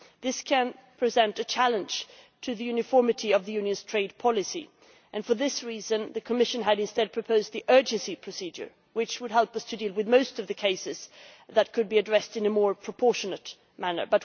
This could present a challenge to the uniformity of the Union's trade policy, and for this reason the Commission had instead proposed the urgency procedure, which would help us to deal with most of the cases that could be addressed in a more proportionate manner.